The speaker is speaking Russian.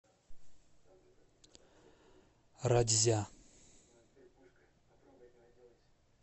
ратьзя